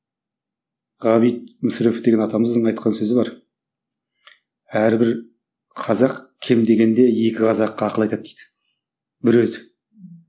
ғабит мүсірепов деген атамыздың айтқан сөзі бар әрбір қазақ кем дегенде екі қазаққа ақыл айтады дейді бір өзі